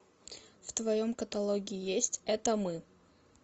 в твоем каталоге есть это мы